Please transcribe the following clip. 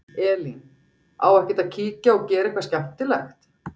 Elín: Á ekkert að kíkja og gera eitthvað skemmtilegt?